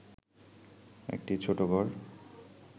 একটি ছোট ঘর